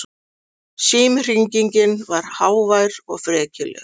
Símhringingin var hávær og frekjuleg.